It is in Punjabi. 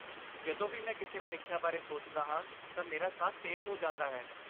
ਜਦੋਂ ਵੀ ਮੈਂ ਕਿਸੇ ਪ੍ਰੀਖਿਆ ਬਾਰੇ ਸੋਚਦਾ ਹਾਂ ਤਾਂ ਮੇਰਾ ਸਾਹ ਤੇਜ਼ ਹੋ ਜਾਂਦਾ ਹੈ।